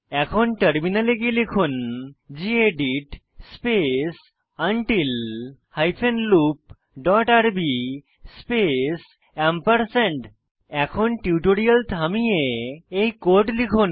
এখন টার্মিনালে গিয়ে লিখুন gedit space until hyphen loop dot আরবি স্পেস এখন টিউটোরিয়াল থামিয়ে এই কোড লিখুন